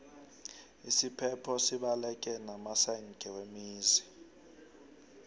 isiphepho sibaleke namasenge wemizi